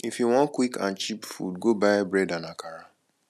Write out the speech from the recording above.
if you wan quick and cheap food go buy bread and akara